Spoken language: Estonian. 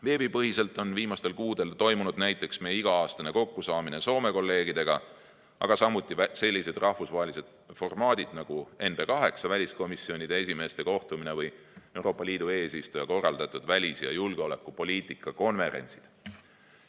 Veebipõhiselt on viimastel kuudel toimunud näiteks meie iga-aastane kokkusaamine Soome kolleegidega, aga samuti sellised rahvusvahelised formaadid nagu NB 8 väliskomisjonide esimeeste kohtumine või Euroopa Liidu eesistuja korraldatud välis‑ ja julgeolekupoliitika konverentsid.